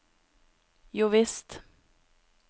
jovisst